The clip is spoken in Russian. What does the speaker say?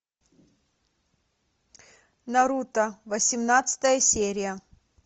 наруто восемнадцатая серия